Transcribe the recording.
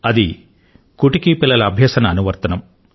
అది కుటుకి పిల్లల అభ్యసన యాప్